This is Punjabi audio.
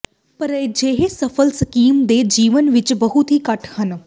ਪਰ ਅਜਿਹੇ ਸਫਲ ਸਕੀਮ ਦੇ ਜੀਵਨ ਵਿੱਚ ਬਹੁਤ ਹੀ ਘੱਟ ਹਨ